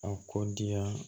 A kɔ diya